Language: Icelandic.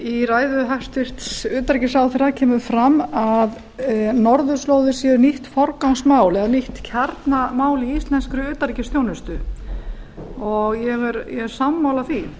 í ræðu hæstvirts utanríkisráðherra kemur fram að norðurslóðir séu nýtt forgangsmál eða nýtt kjarnamál í íslenskri utanríkisþjónustu og ég er sammála því